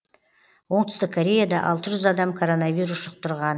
оңтүстік кореяда алты жүз адам коронавирус жұқтырған